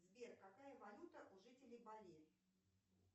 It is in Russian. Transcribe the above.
сбер какая валюта у жителей бали